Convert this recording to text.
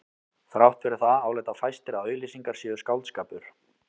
Þrátt fyrir það álíta fæstir að auglýsingar séu skáldskapur.